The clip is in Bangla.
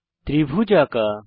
ত্রিভুজ আঁকা